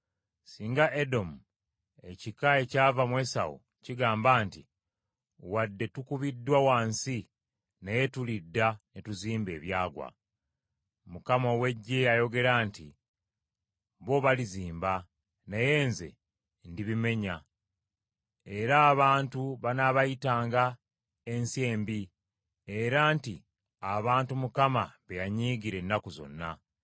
Singa Edomu, ekika ekyava mu Esawu kigamba nti, “Wadde tukubiddwa wansi naye tulidda ne tuzimba ebyagwa.” Mukama ow’Eggye ayogera nti, “Bo balizimba, naye nze ndibimenya; era abantu banaabayitanga, ensi embi, era nti abantu Mukama be yanyiigira ennaku zonna.